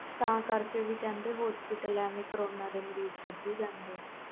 ਤਾ ਕਰਕੇ ਕਹਿੰਦੇ ਸੀ ਹਸਪਤਾਲ ਕਰੋਨਾ ਦੇ ਮਰੀਜ਼ ਕਦੀ ਜਾਂਦੇ ਸੀ